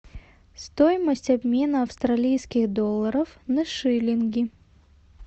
стоимость обмена австралийских долларов на шиллинги